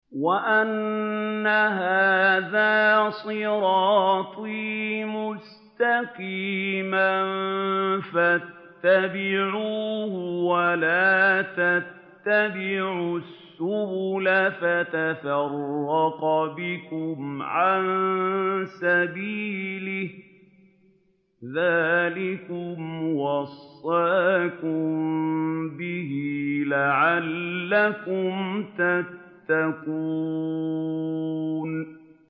وَأَنَّ هَٰذَا صِرَاطِي مُسْتَقِيمًا فَاتَّبِعُوهُ ۖ وَلَا تَتَّبِعُوا السُّبُلَ فَتَفَرَّقَ بِكُمْ عَن سَبِيلِهِ ۚ ذَٰلِكُمْ وَصَّاكُم بِهِ لَعَلَّكُمْ تَتَّقُونَ